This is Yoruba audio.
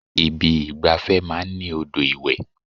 Ibi ìgbafẹ́ máa ń ní odò ìwẹ̀.